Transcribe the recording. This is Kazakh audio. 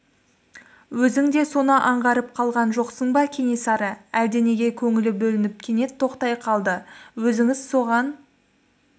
өзің де соны аңғарып қалған жоқсың ба кенесары әлденеге көңілі бөлініп кенет тоқтай қалды өзіңіз соған